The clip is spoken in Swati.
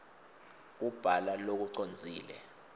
kubhala lokucondzile